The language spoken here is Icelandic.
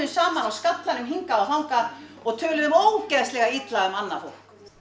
saman á skallanum hingað og þangað og töluðum ógeðslega illa um annað fólk